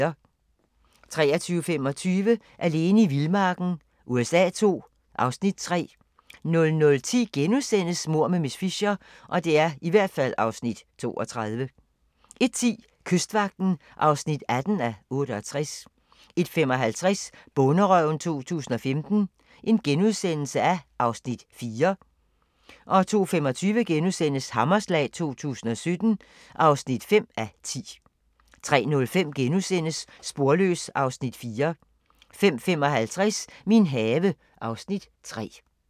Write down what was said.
23:25: Alene i vildmarken USA II (Afs. 3) 00:10: Mord med miss Fisher (32:13)* 01:10: Kystvagten (18:68) 01:55: Bonderøven 2015 (4:12)* 02:25: Hammerslag 2017 (5:10)* 03:05: Sporløs (Afs. 4)* 05:55: Min have (Afs. 3)